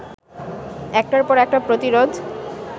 একটার পর একটা প্রতিরোধ